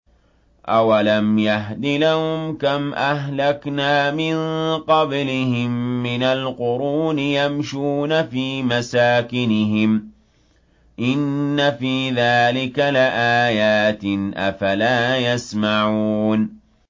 أَوَلَمْ يَهْدِ لَهُمْ كَمْ أَهْلَكْنَا مِن قَبْلِهِم مِّنَ الْقُرُونِ يَمْشُونَ فِي مَسَاكِنِهِمْ ۚ إِنَّ فِي ذَٰلِكَ لَآيَاتٍ ۖ أَفَلَا يَسْمَعُونَ